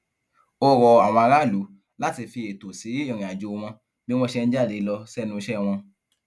ó rọ àwọn aráàlú láti fi ẹtọ sí ìrìnàjò wọn bí wọn ṣe ń jáde lọ sẹnu iṣẹ wọn